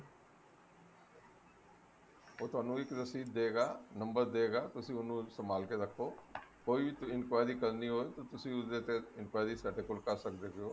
ਉਹ ਤੁਹਾਨੂੰ ਇੱਕ receipt ਦਏਗਾ number ਦਏਗਾ ਤੁਸੀਂ ਉਹਨੂੰ ਸੰਭਾਲ ਕੇ ਰੱਖੋ ਕੋਈ enquiry ਕਰਨੀ ਹੋਏ ਤਾਂ ਤੁਸੀਂ ਉਸਦੇ ਉੱਤੇ enquiry ਸਾਡੇ ਕੋਲ ਕਰ ਸਕਦੇ ਹੈਗੇ ਓ